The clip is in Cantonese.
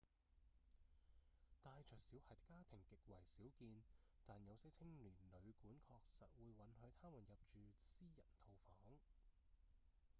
帶著小孩的家庭極為少見但有些青年旅館確實會允許他們入住私人套房